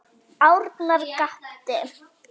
Arnar gapti.